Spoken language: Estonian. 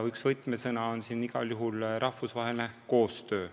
Üks võtmesõna on siin igal juhul rahvusvaheline koostöö.